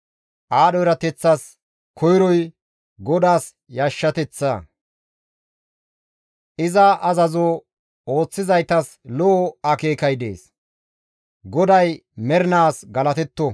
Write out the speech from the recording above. Aadho erateththas koyroy GODAAS yashshateththa; iza azazo ooththizaytas lo7o akeekay dees. GODAY mernaas galatetto!